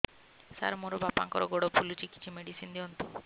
ସାର ମୋର ବାପାଙ୍କର ଗୋଡ ଫୁଲୁଛି କିଛି ମେଡିସିନ ଦିଅନ୍ତୁ